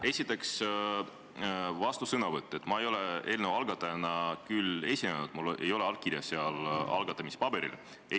Esiteks, vastusõnavõtt: mina ei ole küll eelnõu algatajana esinenud, minu allkirja algatamispaberil ei ole.